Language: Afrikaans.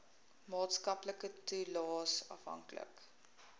maatskaplike toelaes afhanklik